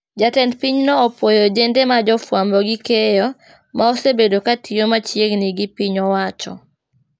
Jatend piny nyo opuoyo ojende ma jofuambo gi keyo maosebedo katiyo machiegni gi piny owacho